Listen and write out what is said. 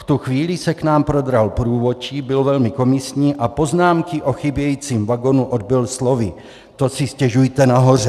V tu chvíli se k nám prodral průvodčí, byl velmi komisní a poznámky o chybějícím vagonu odbyl slovy - to si stěžujte nahoře.